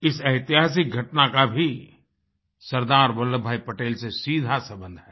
इस ऐतिहासिक घटना का भी सरदार वल्लभभाई पटेल से सीधा सम्बन्ध है